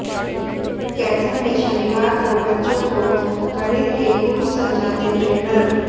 कैथल में शनिवार को बच्चों को गणित के गुर समझाते ट्रेनर